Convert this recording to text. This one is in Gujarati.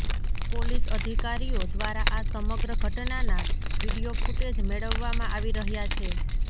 પોલીસ અધિકારીઓ દ્વારા આ સમગ્ર ઘટનાના વિડીયો કુટેજ મેળવવામાં આવી રહયા છે